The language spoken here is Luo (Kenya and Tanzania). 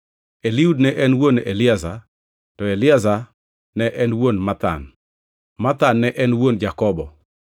Eliud ne en wuon Eleazar, Eleazar ne en wuon Mathan, Mathan ne en wuon Jakobo,